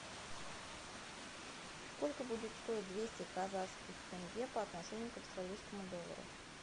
сколько будет стоить двести казахских тенге по отношению к австралийскому доллару